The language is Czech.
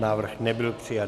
Návrh nebyl přijat.